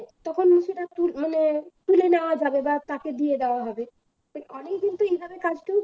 তখন সেটা তু মানে তুলে নেওয়া যাবে বা তাকে দিয়ে দেওয়া হবে তা অনেকদিন তো এইভাবে কাজটাও